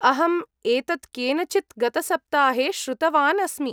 अहम् एतत् केनचित् गतसप्ताहे श्रुतवान् अस्मि।